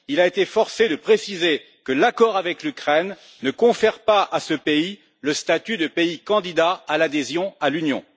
Il a été forcé de préciser que l'accord avec l'Ukraine ne confère pas à ce pays le statut de pays candidat à l'adhésion à l'Union.